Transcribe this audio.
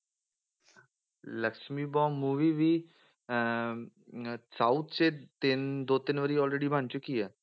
Lakshmi bomb movie ਵੀ ਅਹ south 'ਚ ਤਿੰਨ ਦੋ ਤਿੰਨ ਵਾਰੀ already ਬਣ ਚੁੱਕੀ ਆ।